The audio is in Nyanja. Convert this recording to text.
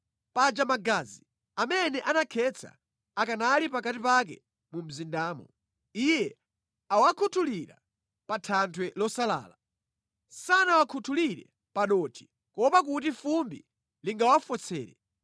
“ ‘Paja magazi amene anakhetsa akanali pakati pake mu mzindamo. Iye awakhuthulira pa thanthwe losalala. Sanawakhutulire pa dothi kuopa kuti fumbi lingawafotsere.